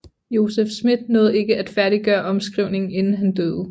Joseph Smith nåede ikke at færdiggøre omskrivningen inden han døde